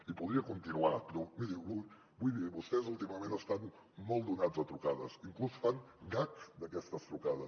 i podria continuar però miri vull dir vostès últimament estan molt acostumats a trucades inclús fan gags d’aquestes trucades